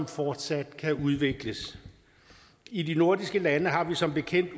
fortsat kan udvikles i de nordiske lande har vi som bekendt